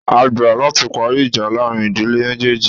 A gbà láti parí ìjà láàrin ìdílé méjéèjì